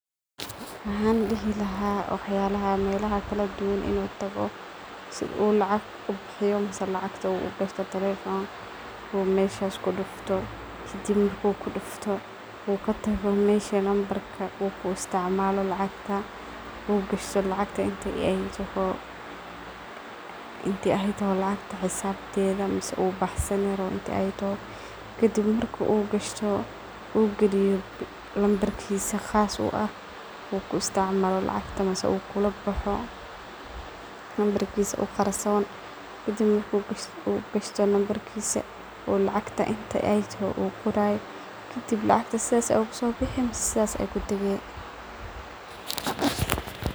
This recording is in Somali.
Waxan dihi lahaa wax yaalaha meelaha kaladuwaan inoo taago sidho lacaag ubihiyo ama lacgta ugashto telephone oo meshas kudufto. Kadib marku kudfto oo katago mesha number ka oo ku isticmalo lacagta oo gashto lacagta inti aay taaho lacagta xisabtedha mise uu baxsani rawo inti ay taaho kadib marki u ay gashto u giliyo number kiisa qaas uu aah uu ku isticmalo lacgta mise u kulabaxo number kiisa u gaarsoon, kadib maarki u gashto number kiisa oo lacagta inta ay taaho u qorayo kadib lacagta saas ay kusobixi mise saas ay kutage.